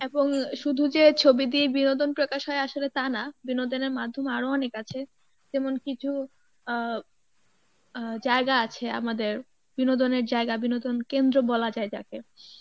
এবং শুধু যে ছবি দিয়ে বিনোদন প্রকাশ হয় আসলে তা না বিনোদনের মাধ্যম আরও অনেক আছে যেমন কিছু আহ আহ জায়গা আছে আমাদের বিনোদনের জায়গা বিনোদন কেন্দ্র বলা যায় যাকে